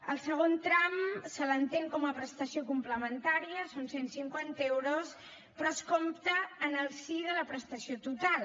al segon tram se l’entén com a prestació complementària són cent cinquanta euros però es compta en el si de la prestació total